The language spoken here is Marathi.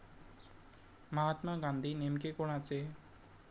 महात्मा गांधी नेमके कोणाचे?